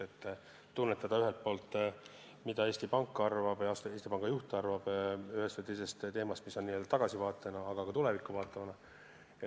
Nii tunnetame ühelt poolt, mida Eesti Pank ja Eesti Panga juht arvab ühest või teisest teemast n-ö tagasivaatena, aga ka tulevikku vaatavana.